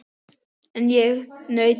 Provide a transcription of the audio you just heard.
En ég naut þess.